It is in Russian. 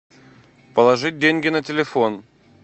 положить деньги на телефон